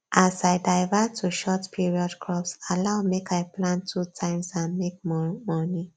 as i divert to short period crops allow make i plant two times and make more money